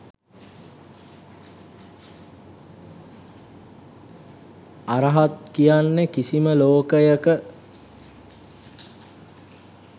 අරහත් කියන්නේ කිසිම ලෝකයක